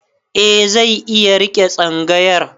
Eh zai iya riƙe tsangayar.